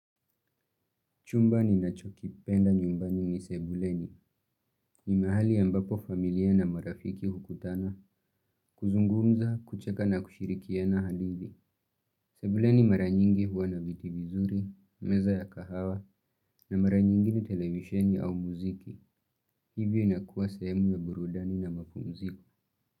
Chumba ninachokipenda nyumbani ni sebuleni. Ni mahali ambapo familia na marafiki hukutana kuzungumza, kucheka na kushirikiana hadithi. Sebuleni mara nyingi huwa na viti vizuri, meza ya kahawa, na mara nyingine televisheni au muziki. Hivyo inakuwa sehemu ya burudani na mapumziko.